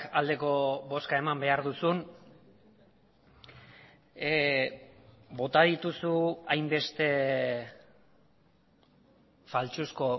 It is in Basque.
aldeko bozka eman behar duzun bota dituzu hainbeste faltsuzko